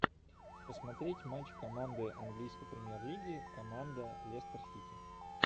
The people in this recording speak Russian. посмотреть матч команды английской премьер лиги команда лестер сити